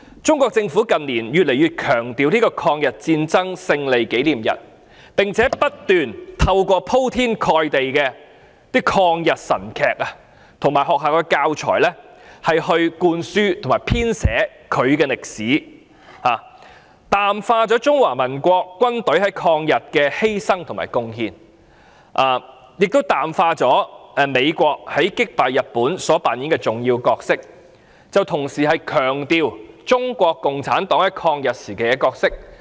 中國政府近年越來越強調抗日戰爭勝利紀念日，並且不斷透過鋪天蓋地的抗日神劇及學校教材來灌輸其編寫的歷史，淡化中華民國軍隊在抗日的犧牲和貢獻，淡化美國在擊敗日本所扮演的重要角色，同時強調中國共產黨在抗日時期的角色。